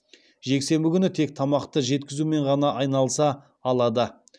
жексенбі күні тек тамақты жеткізумен ғана айналыса алады